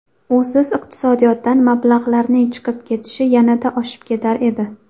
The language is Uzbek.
Usiz iqtisodiyotdan mablag‘larning chiqib ketishi yanada oshib ketar edi.